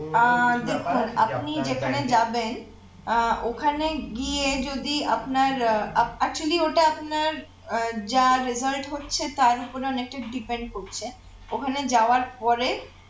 আহ দেখুন আপনি যেখানে যাবেন আহ ওখানে গিয়ে যদি আপনার আহ actually ওটা আপনার আহ যা result হচ্ছে তার ওপরে অনেকটা depend করছে ওখানে যাওয়ার পরে